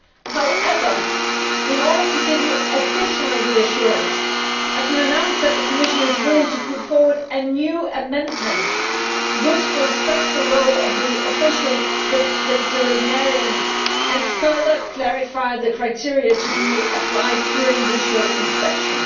However, in order to give you additional reassurance, I can announce that the Commission is willing to put forward a new amendment which will stress the role of the official veterinarian and further clarify the criteria to be applied during visual inspection.